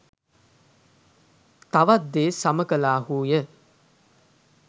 තවත් දේ සම කළාහුය.